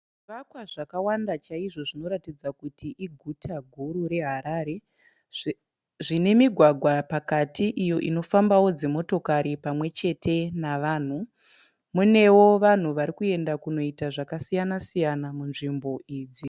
Zvivakwa zvakawanda chaizvo zvinoratidza kuti iguta guru reHarare. Zvine migwagwa pakati iyo inofambawo dzimotokari pamwe chete nevanhu. Munewo vanhu varikuenda kunoita zvakasiyana siyana munzvimbo idzi.